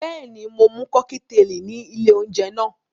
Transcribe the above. Bẹ́ẹ̀ni, mo mu kọ́kíteèlì ní ilé-oúnjẹ náà.